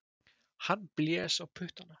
Hann blés á puttana.